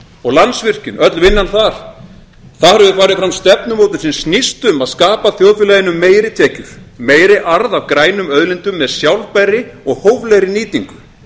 og landsvirkjun öll vinnan þar þar hefur farið fram stefnumótun sem snýst um að skapa þjóðfélaginu meiri tekjur meiri arð af grænum auðlindum með sjálfbærri og hóflegri nýtingu